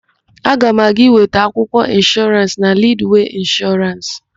Aga m aga ịweta akwụkwọ ịnshọrans na Lidwee Ịnshọrans.